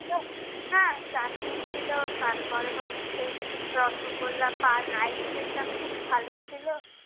হ্যাঁ, চাটনি ছিলো, তার পরে হচ্ছে রসগোল্লা, পান, ice cream টা খুব ভালো ছিলো।